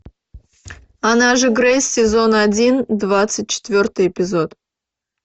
она же грейс сезон один двадцать четвертый эпизод